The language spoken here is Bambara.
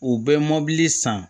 U bɛ mobili san